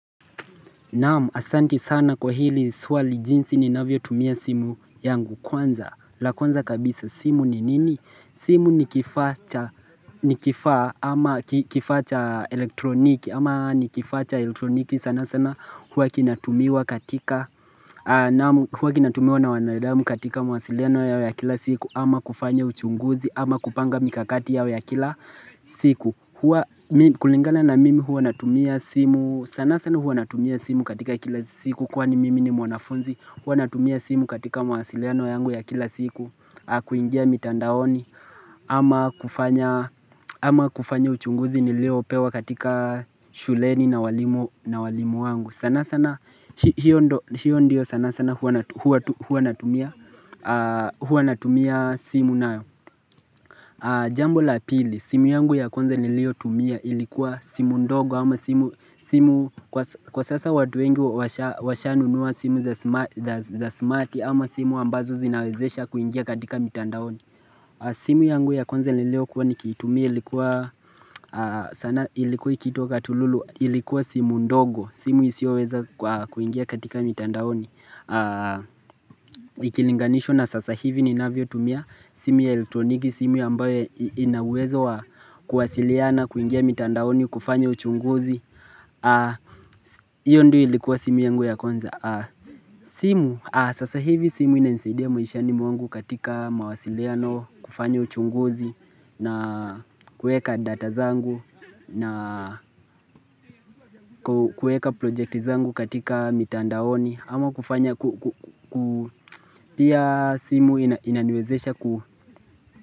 Naam asanti sana kwa hili swali jinsi ninavyotumia simu yangu kwanza la kwanza kabisa simu ni nini? Simu ni kifaa cha elektroniki ama ni kifaa cha elektroniki sana sana hua kinatumiwa katika Naamu hua kinatumiwa na wanawadamu katika mwasiliano yao ya kila siku ama kufanya uchunguzi ama kupanga mikakati yao ya kila siku Kulingala na mimi huwa natumia simu sana sana huwa natumia simu katika kila siku Kwani mimi ni mwanafunzi Huwa natumia simu katika mawasiliano yangu ya kila siku na kuingia mitandaoni ama kufanya uchunguzi niliopewa katika shuleni na walimu wangu sana sana hio ndo sana sana huwa natumia simu nayo Jambo la pili, simu yangu ya kwanza niliotumia ilikuwa simu ndogo ama simu kwa sasa watu wengi washa washanunua simu za smarti ama simu ambazo zinawezesha kuingia katika mitandaoni simu yangu ya kwnze niliokuwa nikiitumia ilikuwa sana ilikuwa ikiitwa katululu ilikuwa simu ndogo simu isioweza kuingia katika mitandaoni Ikilinganisho na sasa hivi ninavyotumia simu ya eltroniki simu yambawe ina uwezo wa kuwasiliana kuingia mitandaoni kufanya uchunguzi Iyo ndio ilikuwa simu yangu ya kwanza simu, sasa hivi simu inanisaidia maishani mwangu katika mawasiliano kufanya uchunguzi na kueka data zangu na kueka projecti zangu katika mitandaoni ama kufanya ku pia simu inaniwezesha ku.